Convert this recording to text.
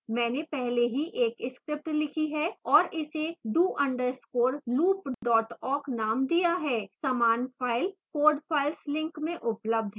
मैंने पहले ही एक script लिखी है और इसे do _ loop awk named दिया है